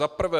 Za prvé.